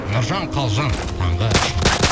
нұржан қалжан таңғы шоуда